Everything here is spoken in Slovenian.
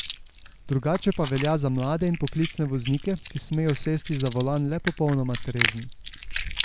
Drugače pa velja za mlade in poklicne voznike, ki smejo sesti za volan le popolnoma trezni.